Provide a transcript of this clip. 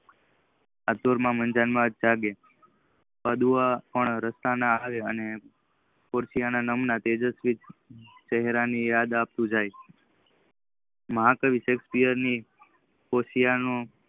અંતરમાં માજાગ માં જાગે. અડવા પર રસ્તા માં આવે. અને ઉફયોય ના નામ ના તેજસ્વી ચહેરાની યાજ આપતી જાય. માયકાય સેઓપ્શફી અમર્પણ મુખી ના પડદા જયારે આપડા કંઈ ભરી દે ટ્રેડ આપડા સામે કાઢી ઉતારે ત્રણ કીનારામ મીટર ધરા પગ મૂકી સકાય